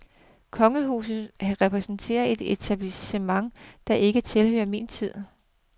Kongehuset repræsenterer et etablissement, der ikke tilhører min tid.